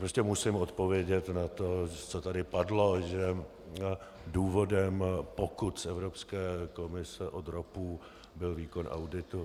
Prostě musím odpovědět na to, co tady padlo, že důvodem pokut z Evropské komise od ROPu byl výkon auditu.